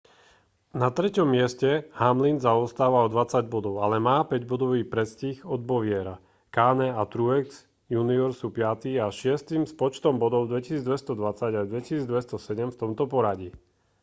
na treťom mieste hamlin zaostáva o dvadsať bodov ale má päťbodový predstih od bowyera kahne a truex jr sú piaty a šiesty s počtom bodov 2 220 a 2 207 v tomto poradí